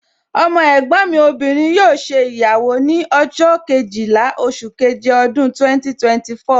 Ọmọ ẹ̀gbọ́n mi obìnrin yóò ṣe ìyàwó ní ọjọ́ Kejìlá oṣù keje ọdún 2024